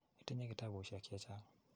Itinye kitapusyek che chang'.